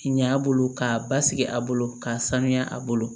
Ɲa a bolo k'a basigi a bolo k'a sanuya a bolo